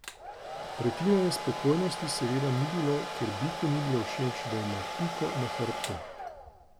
Pretirane spokojnosti seveda ni bilo, ker biku ni bilo všeč, da ima Piko na hrbtu.